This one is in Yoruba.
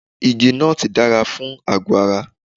Igi nọ́ọ̀tì dára fún àgọ́ ara.